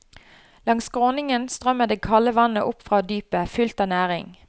Langs skråningen strømmer det kalde vannet opp fra dypet, fullt av næring.